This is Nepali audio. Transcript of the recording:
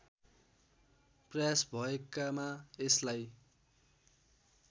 प्रयास भएकामा यसलाई